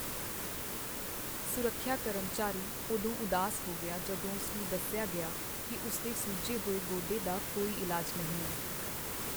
ਸੁਰੱਖਿਆ ਕਰਮਚਾਰੀ ਉਦੋਂ ਉਦਾਸ ਹੋ ਗਿਆ ਜਦੋਂ ਉਸ ਨੂੰ ਦੱਸਿਆ ਗਿਆ ਕਿ ਉਸ ਦੇ ਸੁੱਜੇ ਹੋਏ ਗੋਡੇ ਦਾ ਕੋਈ ਇਲਾਜ ਨਹੀਂ ਹੈ।